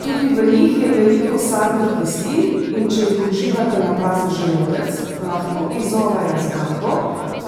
Tudi v njih je veliko sadnih kislin, in če jih uživate na prazen želodec, lahko izzovejo zgago